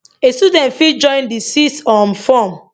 a student fit join di sixth um form